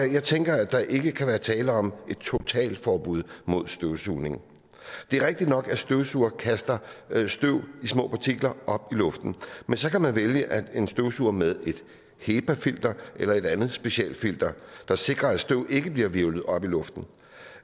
jeg tænker at der ikke kan være tale om et totalforbud mod støvsugning det er rigtigt nok at støvsugere kaster støv små partikler op i luften men så kan man vælge en støvsuger med et hepa filter eller et andet specialfilter der sikrer at støv ikke bliver hvirvlet op i luften